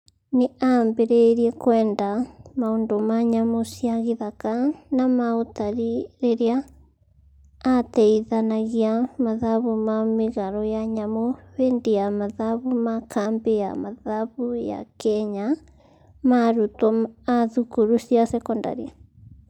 Nĩ aambĩrĩirie kwenda maũndũ ma nyamũ cia gĩthaka na ma ũtari rĩrĩa aateithanagia mathabu ma mĩgarũ ya nyamũ hĩndĩ ya mathabu ma kambĩ ya mathabu ya Kenya ma arutwo a thukuru cia sekondarĩ.